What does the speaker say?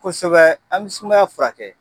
Kosɛbɛ an bi sumaya furakɛ